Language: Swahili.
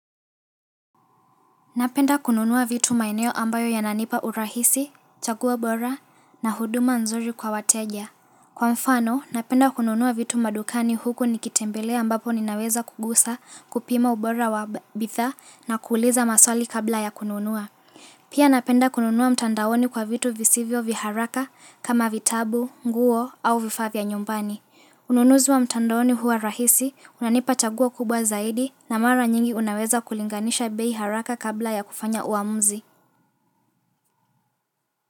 Napenda kununua vitu maeneo ambayo yananipa urahisi, chaguo bora na huduma nzuri kwa wateja. Kwa mfano, napenda kununua vitu madukani huku nikitembelea ambapo ninaweza kugusa, kupima ubora wa bidhaa na kuuliza maswali kabla ya kununua. Pia napenda kununua mtandaoni kwa vitu visivyo vya haraka, kama vitabu, nguo au vifaa vya nyumbani. Ununuzi wa mtandaoni huwa rahisi, unanipa chaguo kubwa zaidi, na mara nyingi unaweza kulinganisha bei haraka kabla ya kufanya uamuzi.